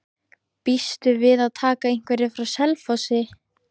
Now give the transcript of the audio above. Býstu við að taka einhverja frá Selfossi?